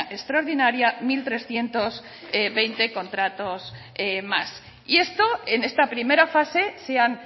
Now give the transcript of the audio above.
extraordinaria mil trescientos veinte contratos más y esto en esta primera fase se han